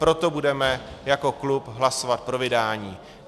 Proto budeme jako klub hlasovat pro vydání.